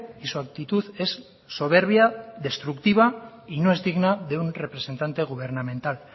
y su actitud es soberbia destructiva y no es digna de un representante gubernamental